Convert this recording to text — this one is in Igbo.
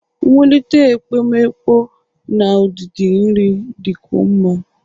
Nwulite ekpomeekpo na udidi nri dịkwuo mma